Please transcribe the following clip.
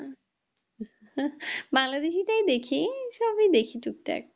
বাংলাদেশীটাই দেখি সবই দেখি টুক টাক